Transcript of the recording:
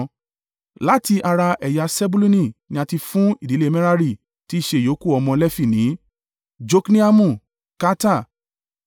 Láti ara ẹ̀yà Sebuluni ni a ti fún ìdílé Merari (tí í ṣe ìyókù ọmọ Lefi) ní: Jokneamu, Karta,